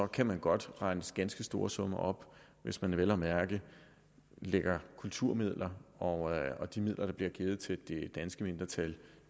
kan man godt remse ganske store summer op og hvis man vel at mærke tillægger kulturmidler og de midler der bliver givet til det danske mindretal i